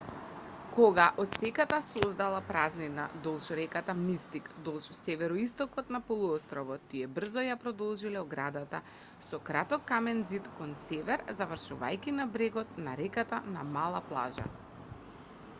кога осеката создала празнина долж реката мистик долж североистокот на полуостровот тие брзо ја продолжиле оградата со краток камен ѕид кон север завршувајќи на брегот на реката на мала плажа